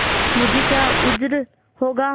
मुझे क्या उज्र होगा